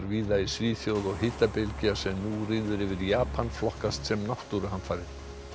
víða í Svíþjóð og hitabylgja sem nú ríður yfir Japan flokkast sem náttúruhamfarir